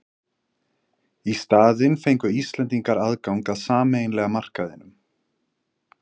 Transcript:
Í staðinn fengu Íslendingar aðgang að sameiginlega markaðinum.